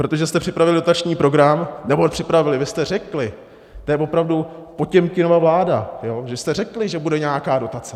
Protože jste připravili dotační program - nebo připravili, vy jste řekli, to je opravdu Potěmkinova vláda, vy jste řekli, že bude nějaká dotace.